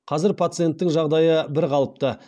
қазір пациенттің жағдайы бірқалыпты